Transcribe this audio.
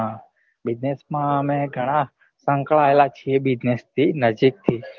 હા business માં અમે ગણ સંકળાયેલા છીએ business થી નજીક થી